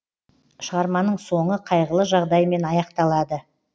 шығарманың соңы қайғылы жағдаймен аяқталады